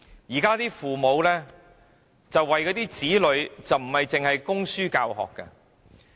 現今父母為子女所做的事，不止供書教學。